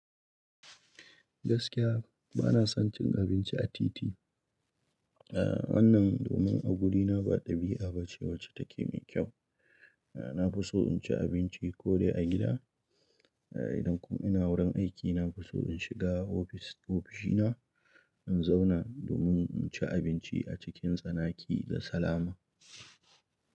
Gaskiya bana son cin abinci a titi. Eh wannan domin a wurina ba ɗabi'a ba ce wacce take mai kyau. Na fi so in ci abinci ko dai a gida. Idan kuma ina wurin aiki, na fi so in shiga ofis- ofishina in zauna domin in ci abinci a cikin tsanaki da salama.